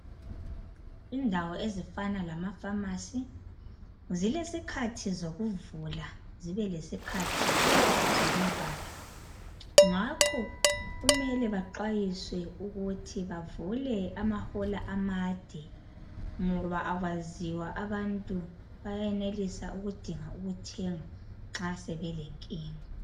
Indawo ezifana lama Phamarcy zilesikhathi zokuvula zibe lesikhathi sokuvala, ngakho kumele baxwayiswe ukuthi bavule amahola amade ngoba akwaziwa abantu bayenelisa ukudinga ukuthenga nxa sebelenkinga.